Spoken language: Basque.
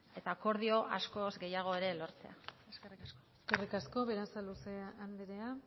eta akordio askoz gehiago ere lortzea eskerrik asko eskerrik asko berasaluze andrea